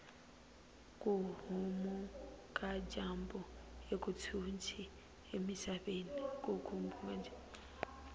kuhhuma kajambu akutshintshi emisaveni